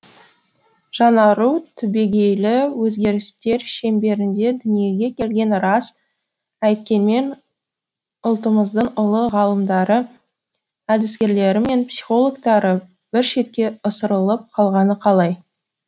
жаңару түбегейлі өзгерістер шеңберінде дүниеге келгені рас әйткенмен ұлттымыздың ұлы ғалымдары әдіскерлері мен психологтары бір шетке ысырылып қалғаны қалай